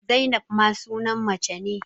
Zainab ma sunan mace ne